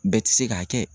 Bɛɛ ti se k'a kɛ